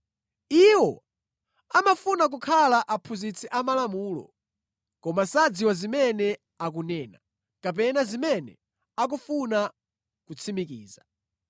Iwo amafuna kukhala aphunzitsi amalamulo, koma sadziwa zimene akunena, kapena zimene akufuna kutsimikiza.